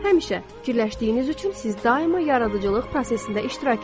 Həmişə fikirləşdiyiniz üçün siz daima yaradıcılıq prosesində iştirak edirsiz.